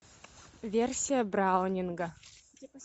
версия браунинга